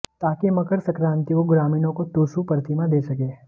ताकि मकर संक्रांति को ग्रामीणों को टुसू प्रतिमा दे सकें